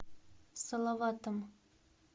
салаватом